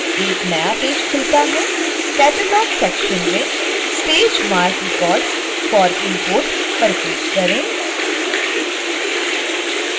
एक नया पेज खुलता है catalog सेक्शन में stage marc records for import पर क्लिक करें